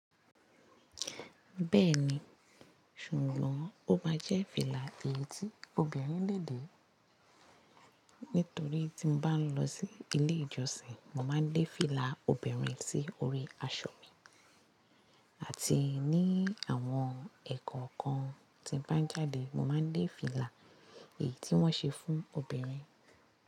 Bẹ́ẹ̀ni, ṣùgbọ́n ó máa jẹ́ fìlà èyí tí obìnrin lè dé. Nítorí tí mo bá ń lọ sí ilé ìjọsìn, mo má ń dé fìlà obìnrin sí orí aṣọ mi. Àti ní àwọn ẹ̀kọ́ kan tí mo bá ń jáde, mo má ń dé fìlà èyí tí wọ́n ṣe fún obìnrin.